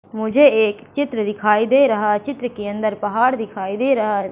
मुझे एक चित्र दिखाई दे रहा चित्र के अंदर पहाड़ दिखाई दे रहा है।